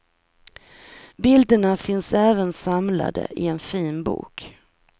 Bilderna finns även samlade i en fin bok.